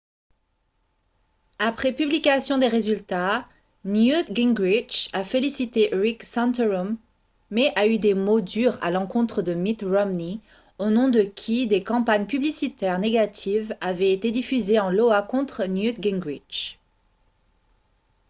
après publication des résultats newt gingrich a félicité rick santorum mais a eu des mots durs à l'encontre de mitt romney au nom de qui des campagnes publicitaires négatives avaient été diffusées en iowa contre newt gingrich